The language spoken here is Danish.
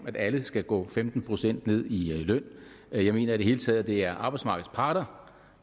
at alle skal gå femten procent ned i løn jeg mener i det hele taget at det er arbejdsmarkedets parter